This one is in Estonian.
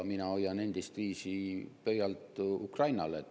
Mina hoian endistviisi pöialt Ukrainale.